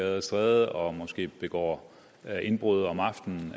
og stræder og måske begår indbrud om aftenen